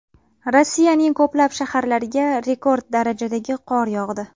Rossiyaning ko‘plab shaharlariga rekord darajadagi qor yog‘di .